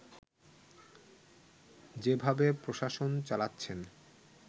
যেভাবে প্রশাসন চালাচ্ছেন